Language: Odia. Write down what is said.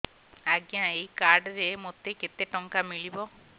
ଆଜ୍ଞା ଏଇ କାର୍ଡ ରେ ମୋତେ କେତେ ଟଙ୍କା ମିଳିବ